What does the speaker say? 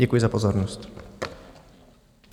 Děkuji za pozornost.